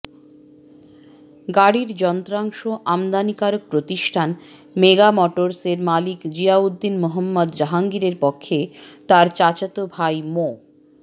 গাড়ির যন্ত্রাংশ আমদানিকারক প্রতিষ্ঠান মেগা মোটরসের মালিক জিয়াউদ্দিন মোহাম্মদ জাহাঙ্গীরের পক্ষে তার চাচাতো ভাই মো